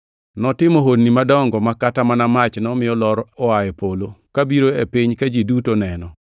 Notimo honni madongo ma kata mana mach nomiyo lor oa e polo, kabiro e piny ka ji duto neno.